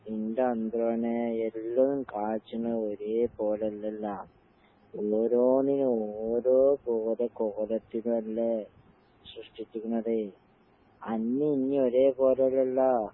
എന്റെ എല്ലാം കാച്ച്ണെ ഒരേ പോലല്ലല്ലാ. ഓരോന്നിനും ഓരോ കോത കോലത്തിലല്ലേ സൃഷ്ടിച്ച്ക്കണതേ. അന്നേം ഇന്നേം ഒരേ കോലല്ലല്ലാ.